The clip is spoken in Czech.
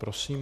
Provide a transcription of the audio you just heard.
Prosím.